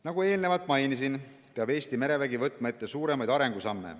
" Nagu eelnevalt mainisin, peab Eesti merevägi võtma ette suuremaid arengusamme.